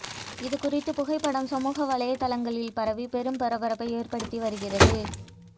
இதுகுறித்த புகைப்படம் சமூக வலைத்தளங்களில் பரவி பெரும் பரபரப்பை ஏற்படுத்தி வருகிறது